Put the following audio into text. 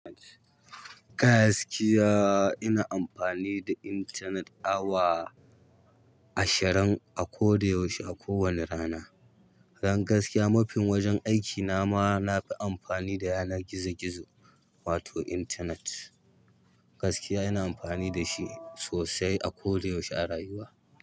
Gaskiya ina amfani da intanet awa ashirin a kodayaushe a ko wanne rana. Don gaskiya, mafin wajen aikina ma nafi amfani da yanar gizo-gizo, wato intanet. Gaskiya ina amfani da shi sosai a kodayaushe a rayuwa.